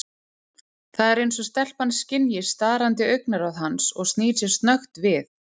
Það er eins og stelpan skynji starandi augnaráð hans og snýr sér snöggt við.